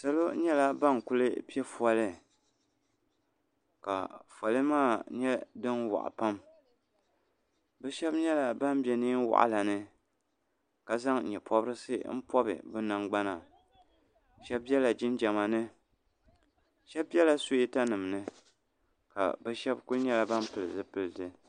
Salo nyɛla bani kuli piɛ foli ka foli maa nyɛ dini wɔɣi pam bi shɛba nyɛla bini bɛ nɛɛn wɔɣila ni ka zaŋ yee pɔbirisi n pɔbi bi nangbana shɛba bɛla jinjama ni shɛba bɛla suwɛta nima ni ka bi shɛba kuli nyɛla bani pili zipiliti.